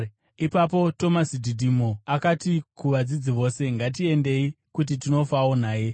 Ipapo Tomasi Dhidhimo akati kuvadzidzi vose, “Ngatiendei, kuti tinofawo naye.”